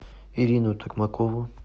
ирину токмакову